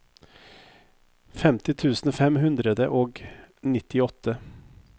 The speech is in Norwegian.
femti tusen fem hundre og nittiåtte